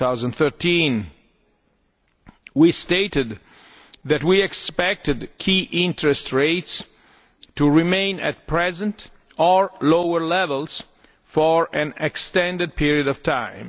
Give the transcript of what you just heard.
2013. We stated that we expected key interest rates to remain at present or lower levels for an extended period of time.